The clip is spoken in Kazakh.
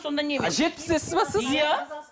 сонда немене жетпістесіз бе сіз иә